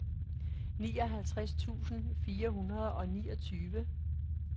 nioghalvtreds tusind fire hundrede og niogtyve